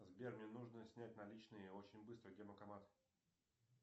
сбер мне нужно снять наличные очень быстро где банкомат